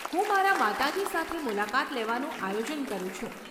હું મારા માતાજી સાથે મુલાકાત લેવાનું આયોજન કરું છું.